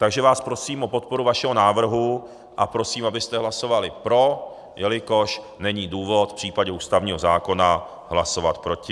Takže vás prosím o podporu našeho návrhu a prosím, abyste hlasovali pro, jelikož není důvod v případě ústavního zákona hlasovat proti.